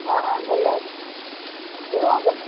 ହଁ ଭଲ ଅଛି ତୁ କଣ କରୁଛୁ?